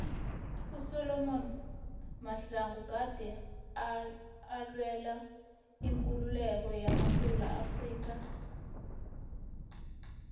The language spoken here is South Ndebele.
usolom mahlangu gade alwela ikululeko yamasewula afrika